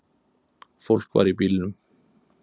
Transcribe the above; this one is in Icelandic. Fólk var í bílnum.